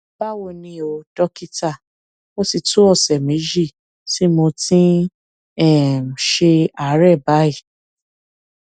báwo ni o dókítà ó ti tó ọsẹ méjì tí mo ti ń um ṣe àárẹ báyìí